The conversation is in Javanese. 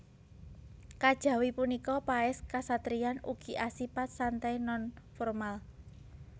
Kajawi punika paès kasatriyan ugi asipat santai non formal